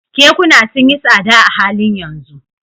Kekuna sun yi tsada a halin yanzu